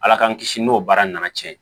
Ala k'an kisi n'o baara nana cɛn